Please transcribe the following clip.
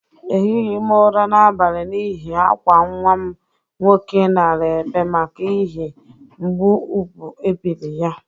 Ehighi m ụra n'abali n'ihi akwa nwa m nwoke nara ebe maka ihi mgbụ ubu ebiri ya.